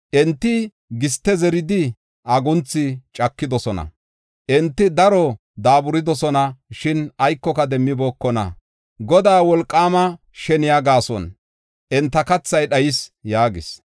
Enti giste zeridi, agunthu cakidosona; enti daro daaburidosona; shin aykoka demmibookona. Godaa wolqaama sheniya gaason enta kathay dhayis” yaagis.